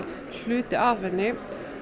hluti af henni